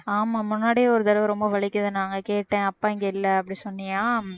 ஆமா முன்னாடியே ஒரு தடவை ரொம்ப வலிக்குது நாங்க கேட்டேன் அப்பா இங்கே இல்லை அப்படி சொன்னியா